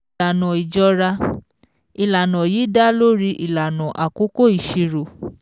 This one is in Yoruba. Ìlànà Ìjọra: Ìlànà yìí dá lórí ìlànà àkókò ìṣirò.